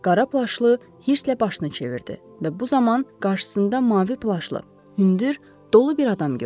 Qara plaşlı hirstlə başını çevirdi və bu zaman qarşısında mavi plaşlı, hündür, dolu bir adam gördü.